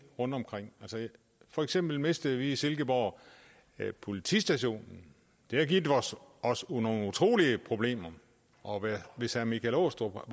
rundtomkring for eksempel mistede vi i silkeborg politistationen det har givet os os nogle utrolig store problemer og hvis herre michael aastrup